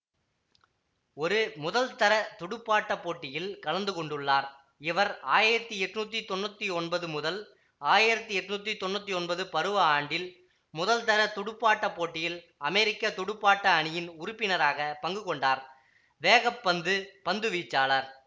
ஒரு முதல்தர துடுப்பாட்ட போட்டியில் கலந்து கொண்டுள்ளார் இவர் ஆயிரத்தி எட்ணூத்தி தொன்னூத்தி ஒன்பது ஆயிரத்தி எட்ணூத்தி தொன்னூத்தி ஒன்பது பருவ ஆண்டில் முதல்தர துடுப்பாட்ட போட்டியில் அமெரிக்க துடுப்பாட்ட அணியின் உறுப்பினராக பங்குகொண்டார் வேக பந்து பந்துவீச்சாளர்